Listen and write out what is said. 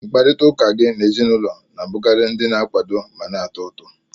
Mkparịta ụka gị na ezinụlọ na-abụkarị ndị na-akwado ma na-atọ ụtọ